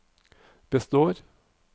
består